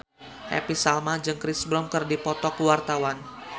Happy Salma jeung Chris Brown keur dipoto ku wartawan